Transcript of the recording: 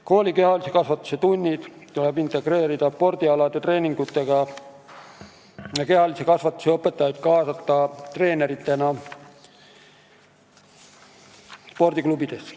Kooli kehalise kasvatuse tunnid tuleb integreerida spordialade treeningutega ja kehalise kasvatuse õpetajaid tuleb kaasata treeneritena spordiklubides.